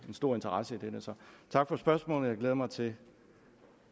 en stor interesse i dette så tak for spørgsmålet jeg glæder mig til